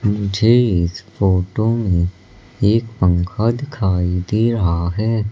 मुझे इस फोटो में एक पंखा दिखाई दे रहा है।